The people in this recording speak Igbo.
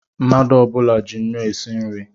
Mmadụ ọbula ji ńnú esi nri